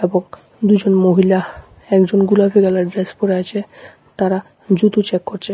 এবং দুজন মহিলা একজন গুলাপী কালারের ড্রেস পরে আছে তারা জুতো চেক করছে।